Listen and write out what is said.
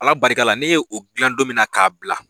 Ala barika la ne ye o gilan don min na ka bila